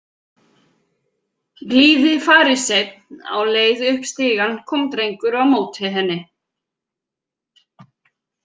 Blíði fariseinn Á leið upp stigann kom drengur á móti henni.